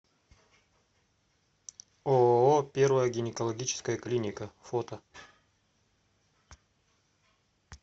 ооо первая гинекологическая клиника фото